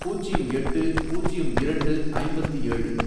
பூஜ்யம் எட்டு, பூஜ்யம் இரண்டு, ஐம்பத்து ஏழு